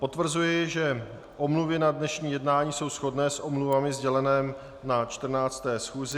Potvrzuji, že omluvy na dnešní jednání jsou shodné s omluvami sdělenými na 14. schůzi.